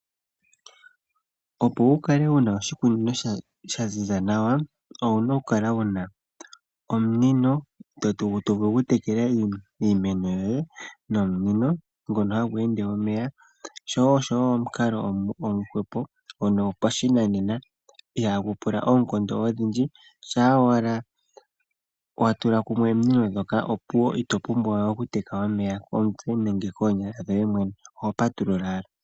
Opo wukale wuna oshikunino shaziza nawa, owuna okukala wuna omunino gwomeya gokutekela iimeno yoye. Nomunino ngono hagu ende omeya osho woo omukalo omupu gwopashinanena ihagu pula oonkondo odhindji shampa watula kumwe ominino opuwo ito pumbwaye okuteka omeya komutse nenge koonyala dhoye mwene ohopatulula ashike kokapomba.